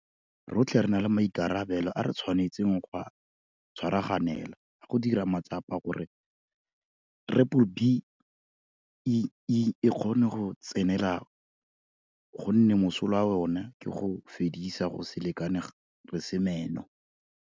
Rotlhe re na le maikarabelo a re tshwanetseng go a tshwaraganela a go dira matsapa gore B-BBEE e kgone go tsenelela gonne mosola wa yona ke go fedisa go se lekane re se meno.